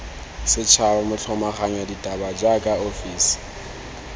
setšhaba motlhomaganya ditaba jaaka ofisi